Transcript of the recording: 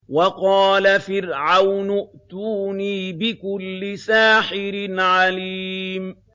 وَقَالَ فِرْعَوْنُ ائْتُونِي بِكُلِّ سَاحِرٍ عَلِيمٍ